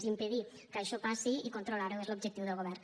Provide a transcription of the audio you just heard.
i impedir que això passi i controlar ho és l’objectiu del govern